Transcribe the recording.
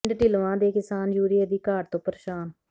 ਪਿੰਡ ਢਿੱਲਵਾਂ ਦੇ ਕਿਸਾਨ ਯੂਰੀਏ ਦੀ ਘਾਟ ਤੋਂ ਪ੍ਰੇਸ਼ਾਨ